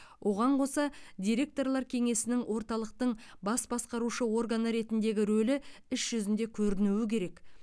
оған қоса директорлар кеңесінің орталықтың бас басқарушы органы ретіндегі рөлі іс жүзінде көрінуі керек